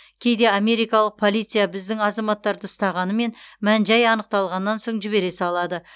кейде америкалық полиция біздің азаматтарды ұстағанымен мән жай анықталғаннан соң жібере салады